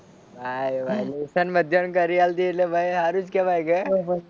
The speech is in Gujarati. હા લેસન બધા ને કરી આલતી એટલે ભાઈ સારું જ કહેવાય કે